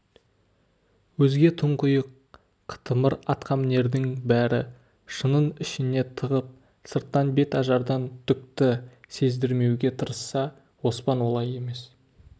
өзге тұңғиық қытымыр атқамінердің бәрі шынын ішіне тығып сырттан бет ажардан түкті сездірмеуге тырысса оспан олай емес